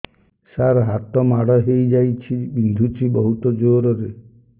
ସାର ହାତ ମାଡ଼ ହେଇଯାଇଛି ବିନ୍ଧୁଛି ବହୁତ ଜୋରରେ